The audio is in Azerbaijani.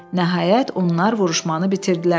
Nəhayət, onlar vuruşmanı bitirdilər.